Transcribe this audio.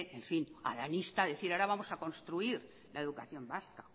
analista decir ahora vamos a construir la educación vasca